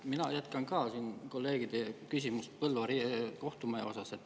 Mina jätkan ka kolleegide küsimust Põlva kohtumaja kohta.